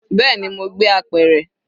Bẹẹni, mo gbé apẹ̀rẹ̀.